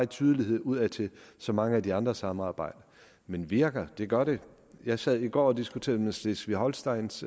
tydeligt udadtil som mange af de andre samarbejder men virker det gør det jeg sad i går og diskuterede med schleswig holsteins